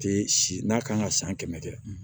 Tɛ si n'a kan ka san kɛmɛ kɛ